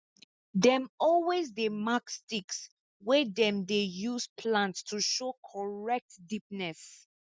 dem always dey mark sticks wey dem dey use plant to show correct deepness